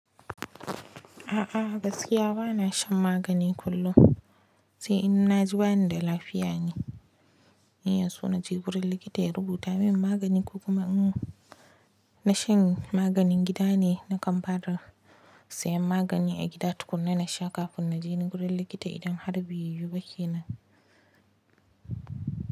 A'a gaskiya bana shan magani kullum, sai in na ji bani da lafiya ne, sai in so na je gurin likita ya rubuta min magani ko kuma in na shanye maganin gida ne na kamfara. Siyan magani a gida tukuna na sha kafin na je gurin likita idan har beyu ba ke nan.